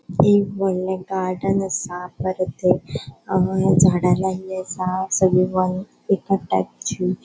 एक वोडले गार्डन असा परत अ झाड़ा लायली असा सगळी --